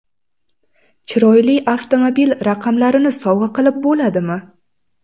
Chiroyli avtomobil raqamlarini sovg‘a qilib bo‘ladimi?.